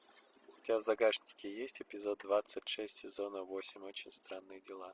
у тебя в загашнике есть эпизод двадцать шесть сезона восемь очень странные дела